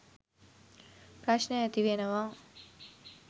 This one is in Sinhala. ප්‍රශ්න ඇතිවෙනවා.